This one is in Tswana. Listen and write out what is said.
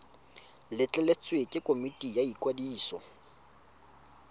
letleletswe ke komiti ya ikwadiso